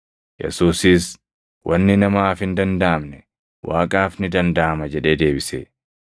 Yesuusis, “Wanni namaaf hin dandaʼamne, Waaqaaf ni dandaʼama” jedhee deebise.